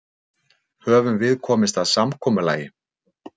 Höfum við komist að samkomulagi?